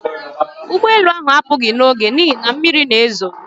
Ụgbọ elu ahụ apụghị n'oge n'ihi na mmiri na-ezo